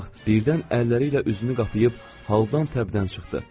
Bu vaxt birdən əlləriylə üzünü qapayıb haldan təbdən çıxdı.